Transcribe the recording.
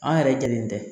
An yɛrɛ jɛlen tɛ